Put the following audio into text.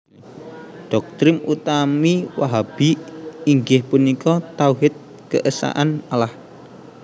Doktrin utami Wahhabi inggih punika Tauhid Keesaan Allah